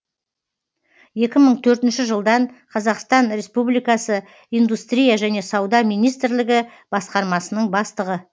екі мың төртінші жылдан қазақстан республикасы индустрия және сауда министрлігі басқармасының бастығы